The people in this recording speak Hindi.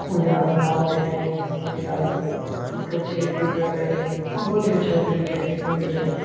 कुछ आदमी आ भी रहे है कुछ आदमी फोटो क्लिक भी कर रहे है बहुत ही अच्छा दृश्य देखने को मिल रहे हैं।